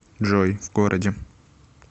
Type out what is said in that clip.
джой в городе